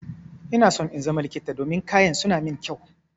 Ina so in zama likita domin kayan su na mun kyau.